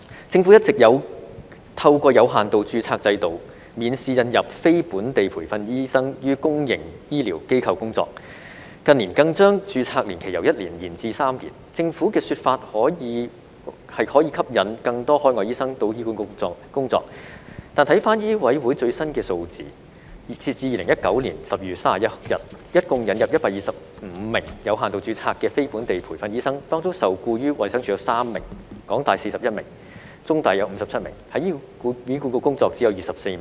政府一直有透過有限度註冊制度，免試引入非本地培訓醫生於公營醫療機構工作，近年更將註冊年期由1年延至3年，政府的說法是可以吸引更多海外醫生到醫管局工作，但根據香港醫務委員會最新的數字，截至2019年12月31日，一共引入125名有限度註冊的非本地培訓醫生，當中受僱於衞生署有3名、港大有41名、中大有57名，而在醫管局工作只有24名。